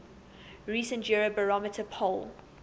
recent eurobarometer poll